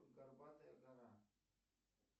горбатая гора